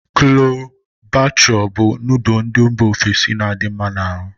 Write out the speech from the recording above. Chole bhature bu nodul ndi mba ofesi n'adi nma n'aru